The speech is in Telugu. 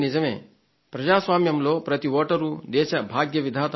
ప్రజాస్వామ్యంలో ప్రతి వోటరూ దేశ భాగ్య విధాత అవుతారు